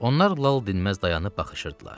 Onlar lal dinməz dayanıb baxışırdılar.